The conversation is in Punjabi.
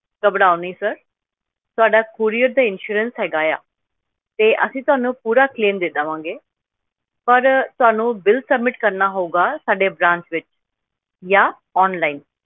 ਘਬਰਾਓ ਨੀ sir ਤੁਹਾਡਾ courier ਦਾ insurance ਹੈਗਾ ਆ, ਤੇ ਅਸੀਂ ਤੁਹਾਨੂੰ ਪੂਰਾ claim ਦੇ ਦੇਵਾਂਗੇ, ਪਰ ਤੁਹਾਨੂੰ ਬਿੱਲ submit ਕਰਨਾ ਹੋਊਗਾ ਸਾਡੇ branch ਵਿੱਚ, ਜਾਂ online